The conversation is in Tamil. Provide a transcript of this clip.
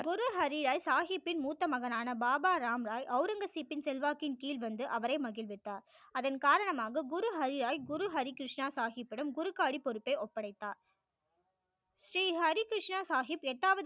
குரு ஹரி ராய் சாகிப்பின் மூத்த மகனான பாபா ராம் ராய் ஔரங்கசிப்பின் செல்வாக்கின் கீழ் வந்து அவரை மகிழ்வித்தார் அதன் காரணமாக குரு ஹரி ராய் குரு ஹரி கிருஷ்ணா சாகிப் இடம் குரு ஹரி பொறுப்பை ஒப்டைத்தார் ஸ்ரீ ஹரி கிருஷ்ணா சாகிப் எட்டாவது